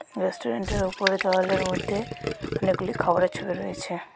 রেস্টুরেন্টের ওপরে দেওয়ালের মধ্যে অনেকগুলি খাবারের ছবি রয়েছে.